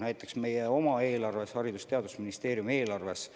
Näiteks meie oma eelarves, Haridus- ja Teadusministeeriumi eelarves